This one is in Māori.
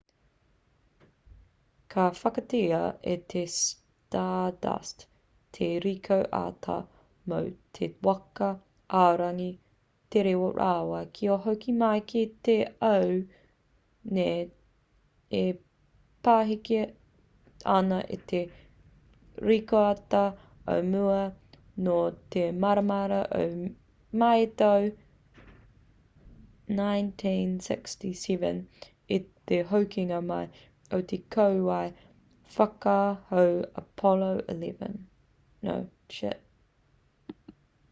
ka whakaritea e te stardust te rikoata mō te waka aorangi tere rawa kia hoki mai ki te ao nei e pahika ana i te rikoata o mua nō te marama o mei i te tau 1969 i te hokinga mai o te kōwae whakahau apollo x